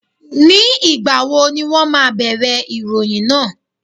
Ní ìgbà wo ni wón ma bẹ̀rẹ̀ ìròyìn náà?